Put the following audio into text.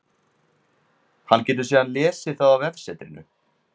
Hann getur þá síðan lesið það á vefsetrinu.